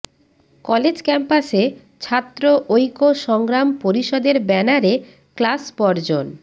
college ক্যাম্পাসে ছাত্র ঐক্য সংগ্রাম পরিষদের ব্যানারে ক্লাস বর্জন